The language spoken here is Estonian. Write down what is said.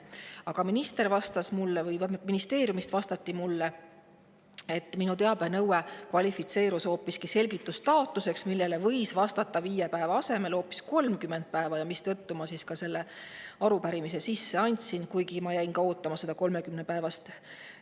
Aga minister vastas mulle või ministeeriumist vastati mulle, et minu teabenõue kvalifitseerub hoopis selgitustaotluseks, millele võib viie päeva asemel vastata 30 päeva jooksul, ja seetõttu ma selle arupärimise sisse andsin, kuigi ma jäin ootama ka seda 30 päevaga laekuvat vastust.